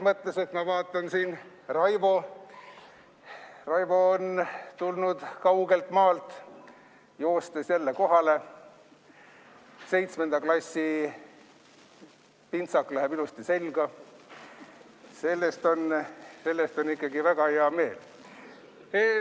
Ma vaatan, et Raivo on tulnud kaugelt maalt joostes jälle kohale, 7. klassi pintsak läheb ilusti selga, selle üle on ikkagi väga hea meel.